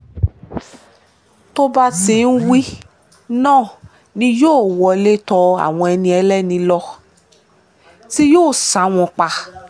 tó bá ti ń wí bẹ́ẹ̀ náà ni yóò wọlé tọ àwọn ẹni ẹlẹ́ni lọ tí yóò sá wọn pa